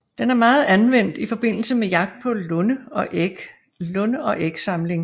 Den er meget anvendt i forbindelse med jagt på lunde og ægsamling